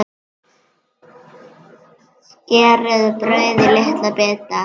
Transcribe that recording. Skerið brauðið í litla bita.